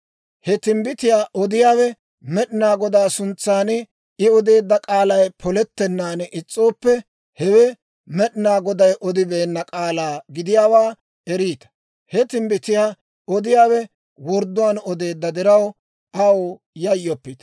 he timbbitiyaa odiyaawe Med'inaa Godaa suntsan, I odeedda k'aalay polettennaan is's'ooppe, hewe Med'inaa Goday odibeenna k'aalaa gidiyaawaa eriita. He timbbitiyaa odiyaawe wordduwaan odeedda diraw, aw yayyoppite.